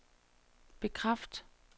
bekræft